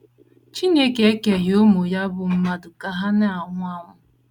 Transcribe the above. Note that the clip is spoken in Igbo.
CHINEKE ekeghị ụmụ ya bụ́ mmadụ ka ha na - anwụ anwụ.